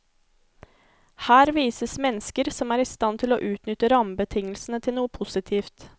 Her vises mennesker som er i stand til å utnytte rammebetingelsene til noe positivt.